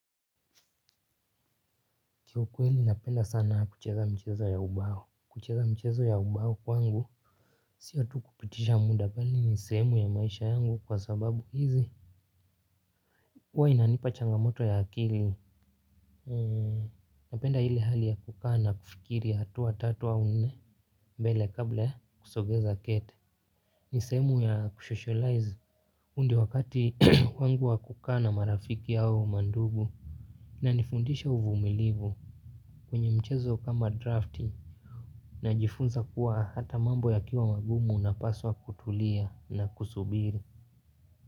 Kiukweli napenda sana kucheza mchezo ya ubao. Kucheza mchezo ya ubao kwangu. Sio tu kupitisha muda bali ni sehemu ya maisha yangu kwa sababu hizi. Huwa inanipa changamoto ya akili. Napenda ile hali ya kukaa na kufikiri hatua tatu au nne. Mbele kabla ya kusogeza kete. Ni sehemu ya kusocialize. Huu ndio wakati wangu wa kukaa na marafiki au mandugu. Inanifundisha uvumilivu. Kwenye mchezo kama drafting najifunza kuwa hata mambo yakiwa magumu unapaswa kutulia na kusubiri.